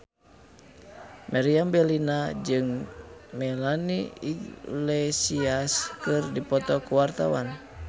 Meriam Bellina jeung Melanie Iglesias keur dipoto ku wartawan